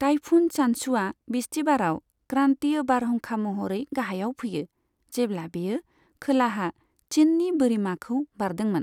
Typhoon चान्चुआ बिस्तिबाराव क्रान्तिय बारहुंखा महरै गाहायाव फैयो, जेब्ला बेयो खोलाहा चिननि बोरिमाखौ बारदोंमोन।